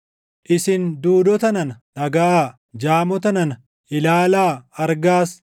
“Isin duudota nana, dhagaʼaa; jaamota nana, ilaalaa; argaas!